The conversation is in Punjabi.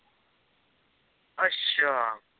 ਅੱਛਾ।